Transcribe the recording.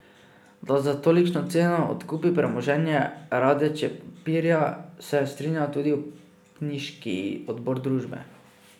Da za tolikšno ceno odkupi premoženje Radeče papirja, se je strinjal tudi upniški odbor družbe.